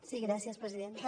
sí gràcies presidenta